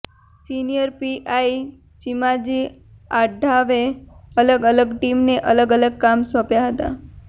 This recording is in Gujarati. સિનિયર પીઆઇ ચીમાજી આઢાવે અલગ અલગ ટીમને અલગ અલગ કામ સોંપ્યા હતા